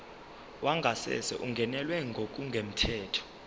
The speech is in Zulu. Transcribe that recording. wangasese ungenelwe ngokungemthetho